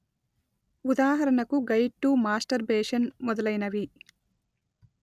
ఉదాహరణకుగైడ్ to masturbation మొదలైనవి